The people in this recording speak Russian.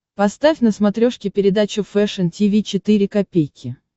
поставь на смотрешке передачу фэшн ти ви четыре ка